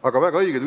Aga väga õige,